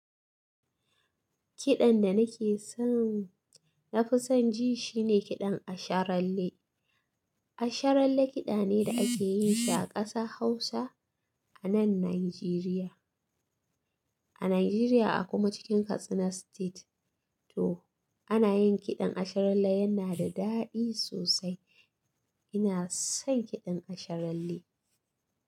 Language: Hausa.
Kiɗan da nake so, na fi son ji shine kiɗan asharalle. Asharalle kiɗa ne da ake yin shi a ƙasa Hausa a nan Najeriya. A Najeriya a kuma cikin Katsina State to ana yin kiɗan asharalle yana da daɗi sosai. Ina son kiɗan asharalle.